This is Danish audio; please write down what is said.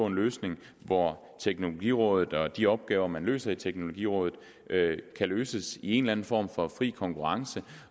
en løsning hvor teknologirådet og de opgaver man løser i teknologirådet kan løses i en eller anden form for fri konkurrence